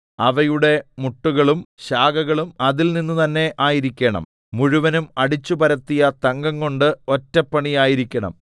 അവയുടെ മുട്ടുകളും ശാഖകളും അതിൽനിന്ന് തന്നെ ആയിരിക്കണം മുഴുവനും അടിച്ചുപരത്തിയ തങ്കംകൊണ്ട് ഒറ്റ പണി ആയിരിക്കണം